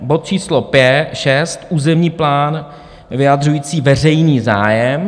Bod číslo 6 - územní plán vyjadřující veřejný zájem.